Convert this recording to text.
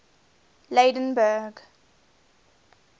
lydenburg